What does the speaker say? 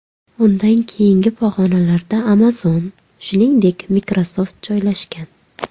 Undan keyingi pog‘onalarda Amazon, shuningdek, Microsoft joylashgan.